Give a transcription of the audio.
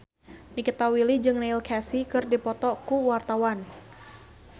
Nikita Willy jeung Neil Casey keur dipoto ku wartawan